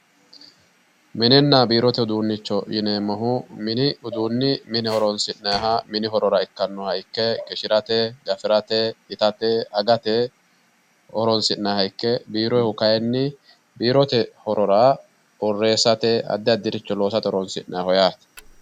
mininna biirote uduunnicho yineemmohu mini uduunni mine horoonsi'nayha qishshirate gafirate itate agate horoonsi'nayha ikke biiroyhu kayinni biirote horora borreesste addi horora horoonsi'ayho yaate